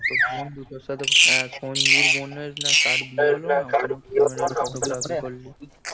তোর বন্ধু তোর সাথে, হ্যাঁ সঞ্জুর বোনের না কার বিয়ে হল না?